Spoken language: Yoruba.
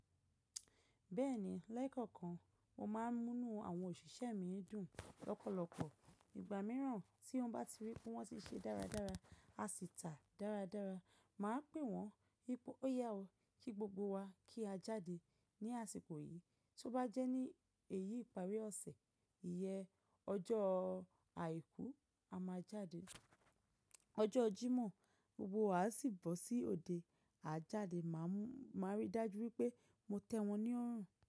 Bẹ́ẹ̀ni, lẹ́kọ̀ọ̀kan mo máa ń múnu àwọn òṣìṣẹ́ mi dùn lọ́pọ̀lọpọ̀. Ìgbà mìíràn tí wọ́n bá ti rí pé wọ́n ti ṣe dáradára, a sì tà dáradára, màá pè wọ́n wípé ó yá o kí gbogbo wa kí a jáde ní àsìkò yìí. Tí ó bá jẹ́ ní èyí ìparí ọ̀sẹ̀, ìyẹ ọjọ́ àìkú a máa jáde, ọjọ́ Jímọ̀ gbogbo wa a sì bọ́ sí òde a jáde. Màá rí dájú wípé mo tẹ́ wọn ní ọ̀ràn.